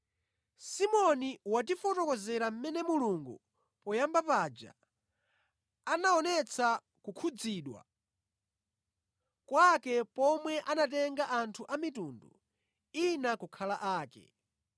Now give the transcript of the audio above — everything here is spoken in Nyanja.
Simoni watifotokozera mmene Mulungu poyamba paja anaonetsa kukhudzidwa kwake pomwe anatenga anthu a mitundu ina kukhala ake.